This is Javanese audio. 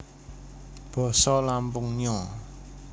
Basa Lampung Nyo